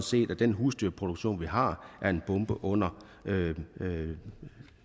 set at den husdyrproduktion vi har er en bombe under